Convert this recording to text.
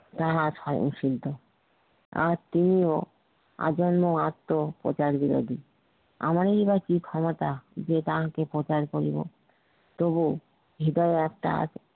তাহার হইনি সিদ্ধ আর তিনিও আজন্ম আত্ম প্রচার বিরোধী আমরাই বা কি ক্ষমতা যে তাহাকে প্রচার করিব তবুও হৃদয়ে তার